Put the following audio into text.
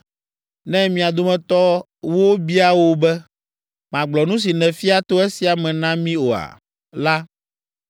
“Ne mia detɔwo bia wò be, ‘magblɔ nu si nèfia to esia me na mí oa?’ la,